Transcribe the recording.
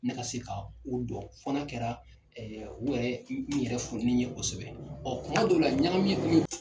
Ne se ka o dɔn fɔ n'a kɛra u yɛrɛ n yɛrɛ fo ni n ye o sɛbɛn tuma dɔw la ɲagami